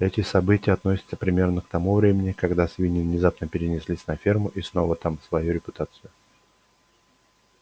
эти события относятся примерно к тому времени когда свиньи внезапно переселились на ферму снова там свою репутацию